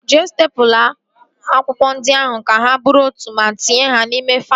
Jee stepụla akwụkwọ ndị ahụ ka ha bụrụ otu ma tinye ha n'ime faịlụ